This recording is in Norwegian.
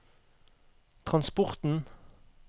transporten